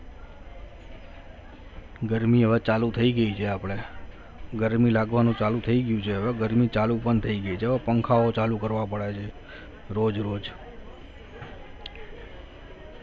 ગરમી હવે ચાલુ થઈ ગઈ છે આપણે ગરમી લાગવાનું ચાલુ થઈ ગયું છે હવે ગરમી ચાલુ પણ થઈ ગઈ છે હો પંખાઓ ચાલુ કરવા પડે છે રોજ રોજ